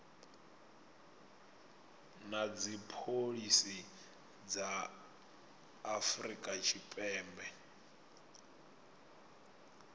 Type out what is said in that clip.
na dzipholisi dza afrika tshipembe